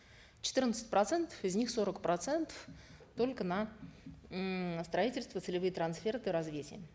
четырнадцать процентов из них сорок процентов только на ммм строительство целевые трансферты